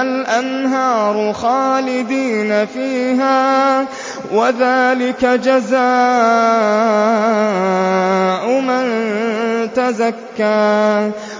الْأَنْهَارُ خَالِدِينَ فِيهَا ۚ وَذَٰلِكَ جَزَاءُ مَن تَزَكَّىٰ